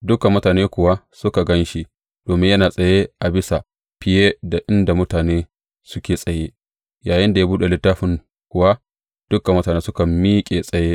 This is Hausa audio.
Dukan mutane kuwa suka gan shi domin yana tsaye a bisa fiye da inda mutane suke tsaye; yayinda ya buɗe littafin kuwa, dukan mutane suka miƙe tsaye.